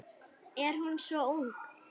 Er hún svo ung?